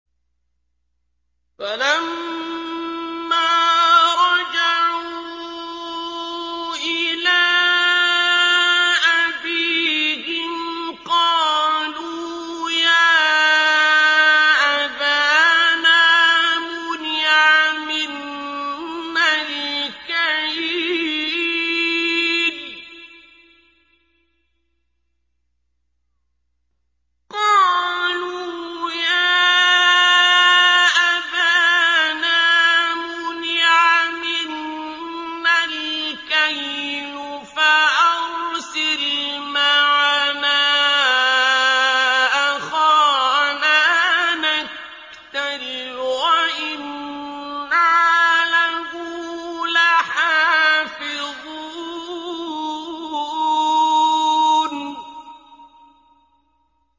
فَلَمَّا رَجَعُوا إِلَىٰ أَبِيهِمْ قَالُوا يَا أَبَانَا مُنِعَ مِنَّا الْكَيْلُ فَأَرْسِلْ مَعَنَا أَخَانَا نَكْتَلْ وَإِنَّا لَهُ لَحَافِظُونَ